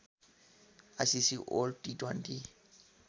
ICC World T twenty